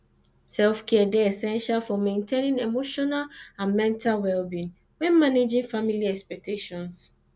selfcare dey essential for maintaining emotional and mental wellbeing when managing family expectations